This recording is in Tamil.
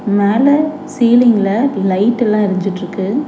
மேல சீலிங்கில்ல லைட் எல்லாம் எரிஞ்சிட்டு இருக்கு.